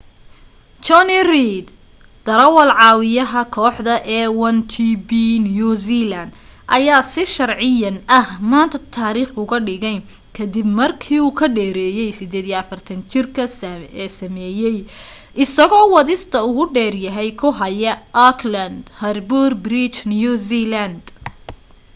jonny reid darawaal-caawiyaha kooxda a1gp new zealand ayaa si sharciyan ah maanta taariikh uga dhigay ka dib markii u ka dheereeyay 48-jirka ee sameeyay isagoo wadista ugu dheereeya ku haya auckland harbour bridge new zealand